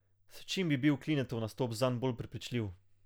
S čim bi bil Klinetov nastop zanj bolj prepričljiv?